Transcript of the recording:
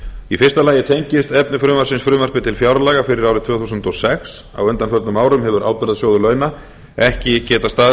í fyrsta lagi tengist efni frumvarpsins frumvarpi til fjárlaga fyrir árið tvö þúsund og sex á undanförnum árum hefur ábyrgðasjóður launa ekki getað staðið